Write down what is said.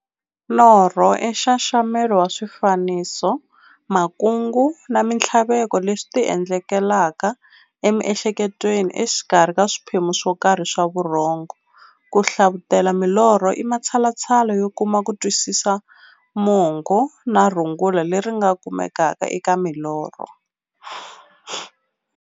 Norho i nxaxamelo wa swifaniso, makungu na minthlaveko leswi ti endlekelaka emiehleketweni exikarhi ka swiphemu swokarhi swa vurhongo. Ku hlavutela milorho i matshalatshala yo kuma kutwisisa mungo na rungula leri nga kumekaka eka milorho.